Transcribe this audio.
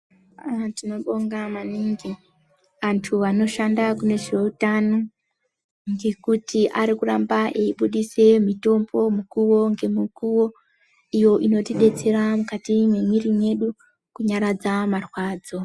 Haa tinobonga maningi vantu vanoshanda kune zvehutano ngekuti arikuramba eibudisa mutombo mukuwo ngemukuwo iyo inotidetsera mukati memwiri yedu kunyaradza marwadzo.